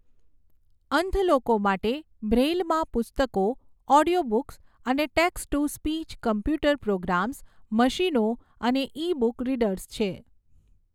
અંધ લોકો માટે, બ્રેઈલમાં પુસ્તકો, ઑડિયો બુક્સ અને text to speech computer programs, મશીનો અને ઈ બુક રીડર્સ છે.